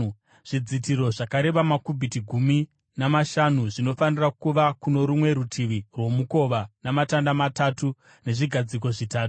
Zvidzitiro zvakareba makubhiti gumi namashanu zvinofanira kuva kuno rumwe rutivi rwomukova, namatanda matatu nezvigadziko zvitatu,